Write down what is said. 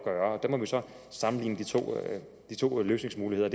gøre der må vi så sammenligne de to løsningsmuligheder